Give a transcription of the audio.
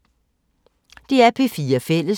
DR P4 Fælles